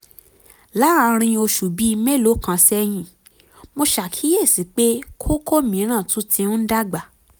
láàárín oṣù bíi mélòó kan sẹ́yìn mo ṣàkíyèsí pé kókó mìíràn tún ti ń dàgbà